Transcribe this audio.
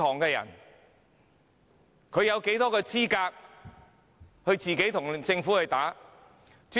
試問他們有多少資格可與政府對打？